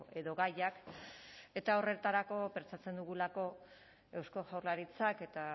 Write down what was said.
edo gaiak eta horretarako pentsatzen dugulako eusko jaurlaritzak eta